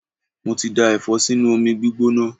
Mo ti da Ẹ̀fọ́ sínú omi gbígbóná.